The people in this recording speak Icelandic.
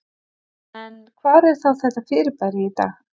En hvar er þá þetta fyrirbæri í dag?